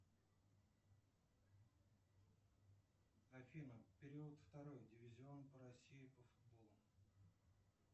афина период второй дивизион россии по футболу